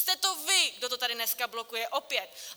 Jste to vy, kdo to tady dneska blokuje, opět.